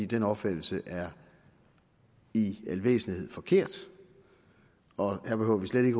den opfattelse er i al væsentlighed forkert og her behøver vi slet ikke